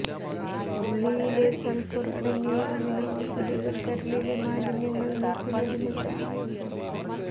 ഉളളിയിലെ sulphur അടങ്ങിയ amino ആസിഡുകൾ കരളിലെ മാലിന്യങ്ങൾ നീക്കുന്നതിനു സഹായകം